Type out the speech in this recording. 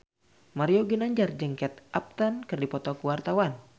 Mario Ginanjar jeung Kate Upton keur dipoto ku wartawan